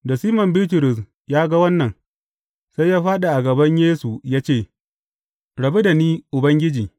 Da Siman Bitrus ya ga wannan, sai ya fāɗi a gaban Yesu ya ce, Rabu da ni, Ubangiji.